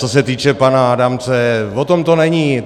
Co se týče pana Adamce, o tom to není.